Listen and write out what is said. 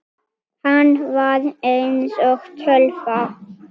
Hann var eins og tölva.